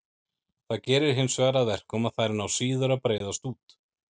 Það gerir hinsvegar að verkum að þær ná síður að breiðast út.